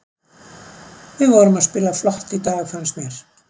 Við vorum að spila flott í dag fannst mér.